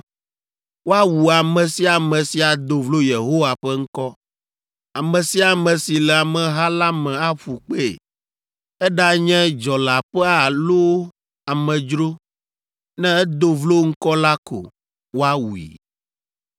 woawu ame sia ame si ado vlo Yehowa ƒe ŋkɔ. Ame sia ame si le ameha la me aƒu kpee. Eɖanye dzɔleaƒea loo alo amedzro, ne edo vlo Ŋkɔ la ko, woawui.